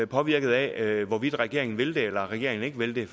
påvirket af hvorvidt regeringen vil det eller regeringen ikke vil det